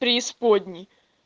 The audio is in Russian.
преисподне